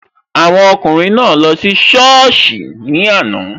Awọn ọkùnrin naa lọ sí sọ́ọ̀sì ní àná